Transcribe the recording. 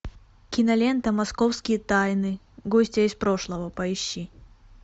кинолента московские тайны гостья из прошлого поищи